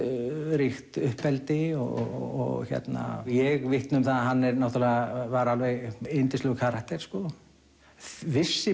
ástríkt uppeldi og ég vitna um það að hann var alveg yndislegur karakter vissi